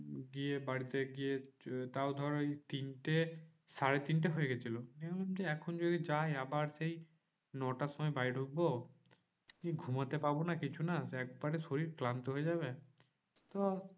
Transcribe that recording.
গিয়ে বাড়িতে গিয়ে তাও ধর ওই তিনটে সাড়ে তিনটে হয়ে গেছিল, নিয়ে ভাবছি এখন যদি যাই আবার সেই নটার সময় বাড়ি ঢুকবো। সেই ঘুমোতে পাবো না কিছু না একবারে শরীর ক্লান্ত হয়ে যাবে। চ